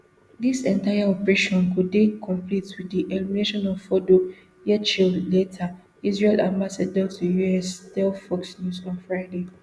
dis entire operation go dey complete wit di elimination of fordo yechiel leiter israel ambassador to us tell fox news on friday